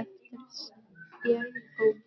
eftir spékoppunum.